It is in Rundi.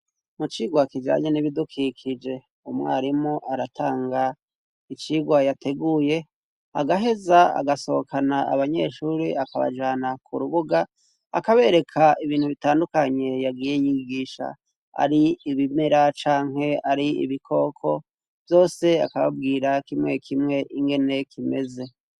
Mu cirwa kijanye n'ibidukikije umwarimu aratanga icirwa yateguye agaheza agasohokana abanyeshuri akabajana ku rubuga akabereka ibintu bitandukanye yagiye nyigisha ari ibimera canke ari ibikoko vyose akababwira kiwa mwekimwe ingeneye kimeze.